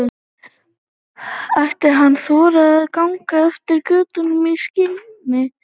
Ætti hann að þora að ganga eftir götunum í skini götuljósanna?